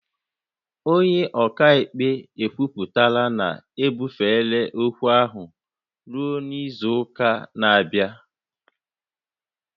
Onye ọka ikpe ekwupụtala na ebufere ókwú ahụ ruo izu ụka na-abịa